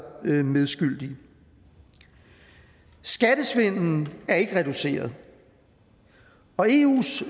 til medskyldige skattesvindelen er ikke reduceret og eus